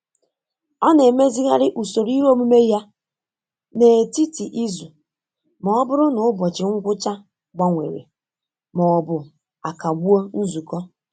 Ọ na-emezigharị usoro ihe omume ya n'etiti izu ma ọ bụrụ na ụbọchị ngwụcha gbanwere ma ọ bụ akagbuo nzukọ.